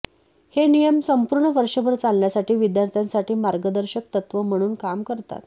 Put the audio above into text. हे नियम संपूर्ण वर्षभर चालण्यासाठी विद्यार्थ्यांसाठी मार्गदर्शक तत्त्व म्हणून काम करतात